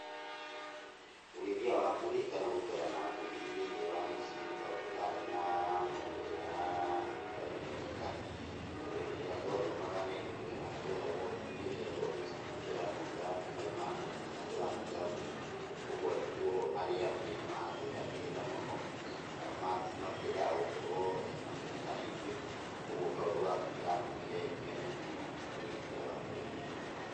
Ũrĩithia wa mbũri kana gũikara na mbũri thĩiniĩ wa mũciĩ nĩ kaũndũ karĩ na maũmĩrĩra matarĩ mega, tondũ hĩndĩ ĩrĩa twathomaga nĩndirikanaga tweragũo hĩndĩ ĩrĩa twathiĩ cukuru tũranunga mai ma mbũri, kana tũranunga mbũri. Ũguo arutwo arĩa angĩ nĩmatwehagĩrĩra mũno, kana matiendaga gũkorwo makĩoneka naithuĩ, ũguo kaũndũ gaka nĩgatũmire mene mũno ũrĩithia wa mbũri.